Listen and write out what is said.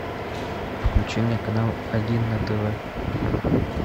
включи мне канал один на тв